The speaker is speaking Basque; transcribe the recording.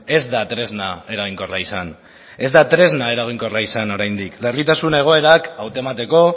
ez da tresna eraginkorra izan ez da tresna eraginkorra izan oraindik larritasun egoerak hautemateko